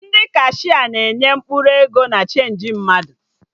Ndị kashia na-enye mkpụrụ ego na chenji mmadụ